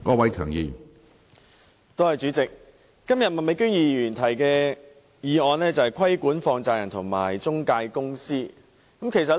主席，麥美娟議員今天提出"促請政府加強規管放債人及財務中介公司"的議案。